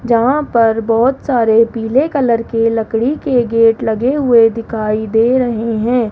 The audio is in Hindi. यहां पर बहुत सारे पीले कलर के लकड़ी के गेट लगे हुए दिखाई दे रहे हैं।